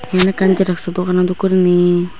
yen ekkan jeroxo dogano dokkey gurinei.